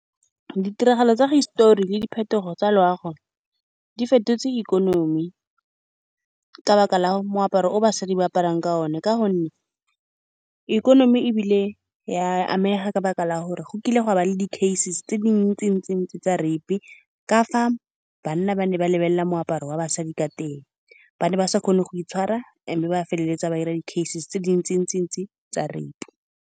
Ditiragalo tsa hisitori le diphetogo tsa loago di fetotse ikonomi ka lebaka la moaparo o basadi ba aparang ka one, ka gonne ikonomi e bile ya amega ka lebaka la gore go kile ga ba le di-case tse dintsi-ntsi-ntsi tsa rape ka fa banna ba ne ba lebelela moaparo wa basadi ka teng. Ba ne ba sa kgone go itshwara, mme ba feleletsa ba dira di-case tse dintsi-ntsi-ntsi tsa rape.